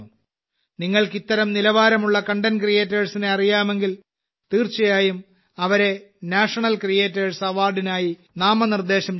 നിങ്ങൾക്ക് ഇത്തരം നിലവാരമുള്ള കണ്ടന്റ് ക്രിയേറ്റേഴ്സിനെ അറിയാമെങ്കിൽ തീർച്ചയായും അവരെ നാഷണൽ ക്രിയേറ്റേഴ്സ് അവാർഡിനായി നാമനിർദ്ദേശം ചെയ്യണം